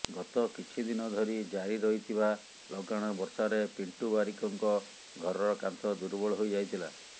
ଗତ କିଛି ଦିନ ଧରି ଜାରି ରହିଥିବା ଲଗାଣ ବର୍ଷାରେ ପିଣ୍ଟୁ ବାରିକଙ୍କ ଘରର କାନ୍ଥ ଦୁର୍ବଳ ହୋଇଯାଇଥିଲା